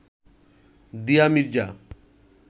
দিয়া মির্জা